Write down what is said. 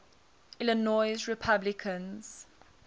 illinois republicans